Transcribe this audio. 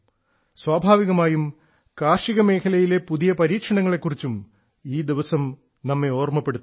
സ്വാഭാവികമായും കാർഷിക മേഖലയിലെ പുതിയ പരീക്ഷണങ്ങളെ കുറിച്ചും ഈ ദിവസം നമ്മെ ഓർമ്മപ്പെടുത്തുന്നു